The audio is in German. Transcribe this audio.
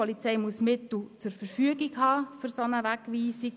Der Polizei müssen Mittel für eine solche Wegweisung zur Verfügung stehen;